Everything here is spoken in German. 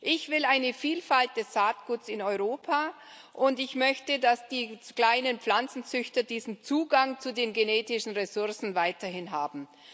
Ich will eine Vielfalt des Saatguts in Europa, und ich möchte, dass die kleinen Pflanzenzüchter diesen Zugang zu den genetischen Ressourcen weiterhin haben.